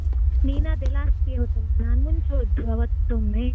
ನೀನಾದ್ರೆ last year ಹೋದದ್ದಲ್ಲಾ ನಾನ್ ಮುಂಚೆ ಹೊದ್ದು ಅವತೊಮ್ಮೆ.